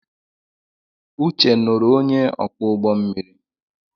Uche nuru onye oku ugbommiri